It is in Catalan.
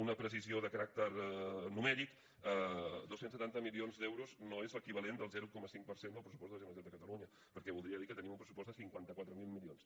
una precisió de caràcter numèric dos cents i setanta milions d’euros no és l’equivalent del zero coma cinc per cent del pressupost de la generalitat de catalunya perquè voldria dir que tenim un pressupost de cinquanta quatre mil milions